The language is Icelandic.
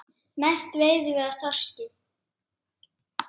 Mest veiðum við af þorski.